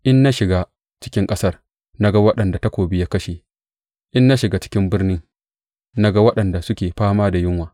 In na shiga cikin ƙasar, na ga waɗanda takobi ya kashe; in na shiga cikin birni, na ga waɗanda suke fama da yunwa.